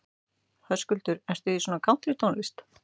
Höskuldur: Ertu í svona kántrítónlist?